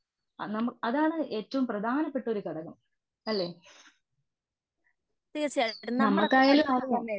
അ അതാണ് ഏറ്റവും പ്രധാനപ്പെട്ടൊരു ഘടകം അല്ലെ? നമ്മക്കായാലും